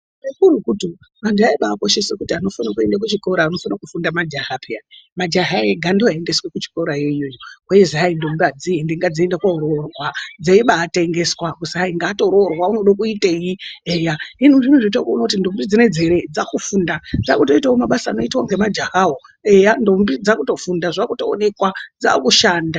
Chikuru kurutu vantu vabaikoshese kuti anofana kuenda kuchikora, anofana kufunda majaha peya. Majaha ega ndiwo aiendeswa kuchikora iyoyo. Kweizi hai ndombi adziendi ngadziende koororwa. Dzeibatengeswa kuti kwai hai ngaatoroorwa unoda kuitei eya. Hino zvinezvi taakuona kuti ndombi dzinedzi eree dzakufunda. Dzakutoitawo mabasa anoitwa ngemajahawo. Eya ndombi dzakutofunda, zvakutoonekwa. Dzakushanda.